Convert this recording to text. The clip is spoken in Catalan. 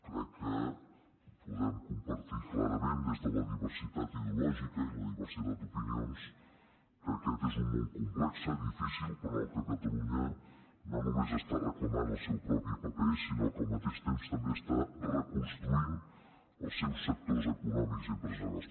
crec que podem compartir clarament des de la diversitat ideològica i la diversitat d’opinions que aquest és un món complex difícil però en el qual catalunya no només està reclamant el seu propi paper sinó que al mateix temps també està reconstruint els seus sectors econòmics i empresarials